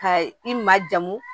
Ka i ma jamu